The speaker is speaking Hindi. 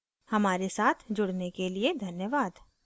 हमारे साथ जुड़ने के लिए धन्यवाद